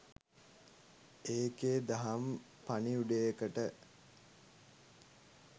ඒකෙ දහම් පණිවුඩයකට